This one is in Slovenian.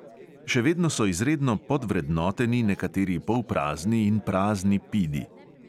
Še vedno so izredno podvrednoteni nekateri polprazni in prazni pidi.